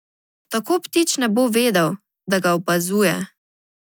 Tako ptič ne bo vedel, da ga opazuje.